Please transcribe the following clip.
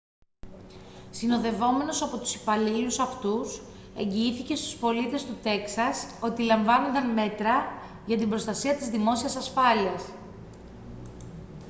συνοδευόμενος από τους υπαλλήλους αυτούς εγγυήθηκε στους πολίτες του τέξας ότι λαμβάνονταν μέτρα για την προστασία της δημόσιας ασφάλειας